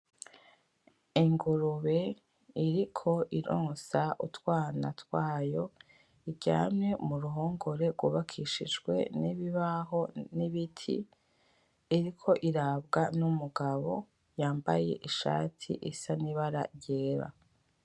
Ingurube iriko ironsa utwana twayo iryamye muruhongore gwubakishijwe n'ibibaho; n'ibiti iriko irabwa n'umugabo yambaye ishati isa nibara ryera.